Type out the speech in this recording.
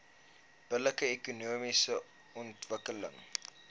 billike ekonomiese ontwikkeling